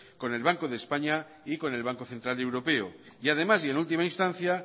con el banco de españa y con el banco central europeo y además y en última instancia